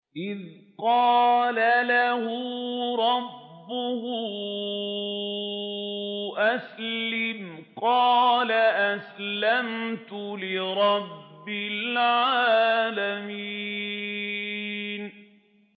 إِذْ قَالَ لَهُ رَبُّهُ أَسْلِمْ ۖ قَالَ أَسْلَمْتُ لِرَبِّ الْعَالَمِينَ